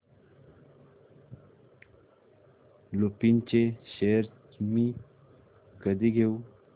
लुपिन चे शेअर्स मी कधी घेऊ